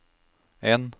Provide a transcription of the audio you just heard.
en